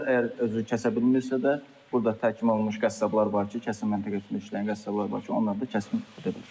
Əgər özü kəsə bilmirsə də, burda təhkim olunmuş qəssablar var ki, kəsim məntəqəsində işləyən qəssablar var ki, onlar da kəsimi edə bilər.